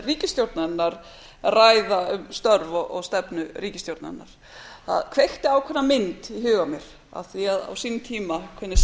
ríkisstjórnarinnar ræða um störf og stefnu ríkisstjórnarinnar það kveikti ákveðna mynd í huga mér af því að á sínum tíma hvernig